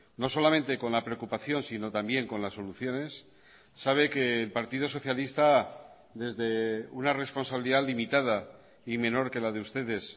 no solamente con la preocupación sino también con las soluciones sabe que el partido socialista desde una responsabilidad limitada y menor que la de ustedes